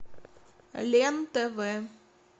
лен тв